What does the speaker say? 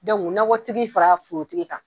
nɔkɔtigi fara forotigi kan